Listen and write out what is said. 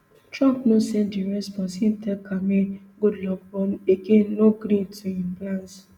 trump no send di response im tell khamenei good luck but again no gree to im plans